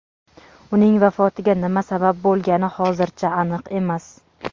Uning vafotiga nima sabab bo‘lgani hozircha aniq emas.